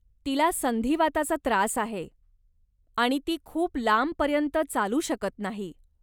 तिला संधिवाताचा त्रास आहे आणि ती खूप लांबपर्यंत चालू शकत नाही.